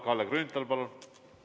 Kalle Grünthal, palun!